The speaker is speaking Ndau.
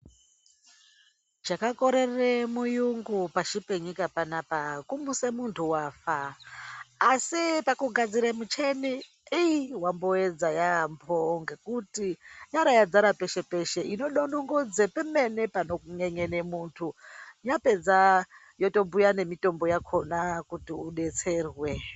Chakakorere muyungu pashi penyika panapa kumuse muntu wafa. Asi pakugadzire micheni ii wamboedza yaambo ngekuti yaaradzara peshe-peshe. Inodonongodze pemene panonyenyene muntu. Yapedza yotobhuya nemitombo yakona kuti udetserwe.